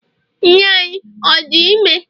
nne anyi ọ di ime?